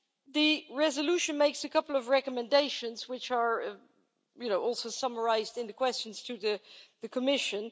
The resolution makes a couple of recommendations which are also summarised in the questions to the Commission.